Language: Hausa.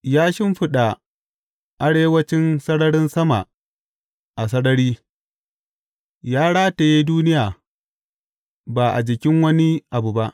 Ya shimfiɗa arewancin sararin sama a sarari; ya rataye duniya ba a jikin wani abu ba.